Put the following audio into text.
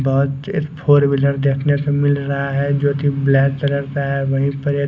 बहोत तेज four wheeler देखने को मिल रहा है जोकि ब्लैक कलर का है वहीं पर एक--